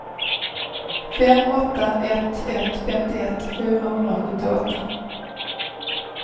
fem åtta ett ett femtioett fyrahundrasjuttioåtta